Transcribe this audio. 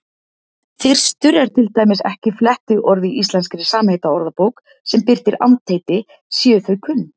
Þyrstur er til dæmis ekki flettiorð í Íslenskri samheitaorðabók sem birtir andheiti séu þau kunn.